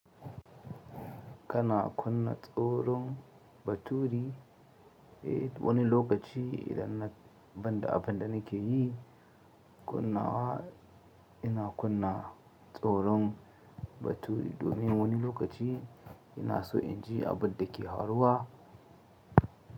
Kana kunna tsoron baturi eh woni lokaci idan na banda abunda nake yi kunna wa ina kunna tsoron baturi domin woni lokaci ina so in ji abunda ke haruwa.